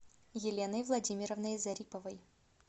еленой владимировной зариповой